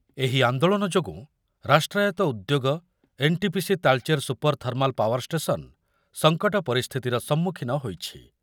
ଏହି ଆନ୍ଦୋଳନ ଯୋଗୁଁ ରାଷ୍ଟ୍ରାୟତ୍ତ ଉଦ୍ୟୋଗ NTPC Talcher super thermal power station ସଂକଟ ପରିସ୍ଥିତିର ସମ୍ମୁଖୀନ ହୋଇଛି।